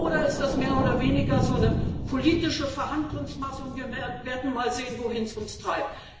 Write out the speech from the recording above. Oder ist das mehr oder weniger so eine politische Verhandlungsmasse, und wir werden mal sehen, wohin es uns treibt?